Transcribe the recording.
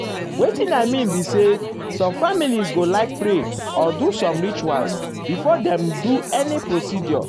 wetin i mean be say some families go um like pray or do some rituals before dem um do any procedure.